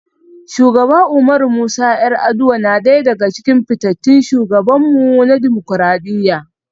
Shugaba Umaru Musa 'Yar'aduwa na daya daga cikin fitattun shugabanmu na dimokuradiyya.